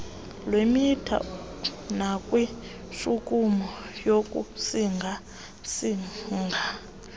lwemitha nakwintshukumo yokusingasinga